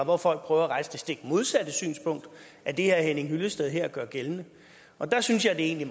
hvor folk prøver at rejse det stik modsatte synspunkt af det herre henning hyllested her gør gældende der synes jeg egentlig